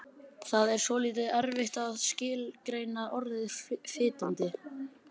Það er svolítið erfitt að skilgreina orðið fitandi.